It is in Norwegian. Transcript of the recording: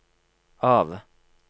av